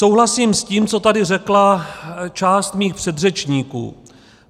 Souhlasím s tím, co tady řekla část mých předřečníků.